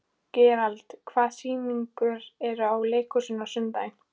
Gerald, hvaða sýningar eru í leikhúsinu á sunnudaginn?